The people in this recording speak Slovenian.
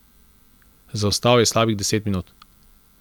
Zaostal je slabih deset minut.